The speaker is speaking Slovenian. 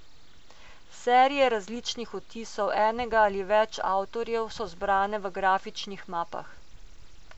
Serije različnih odtisov enega ali več avtorjev so zbrane v grafičnih mapah.